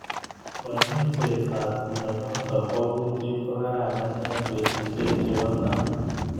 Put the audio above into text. Kanyoiset ab mnyenotok bo kutit kokararan eng betushek chebo tai.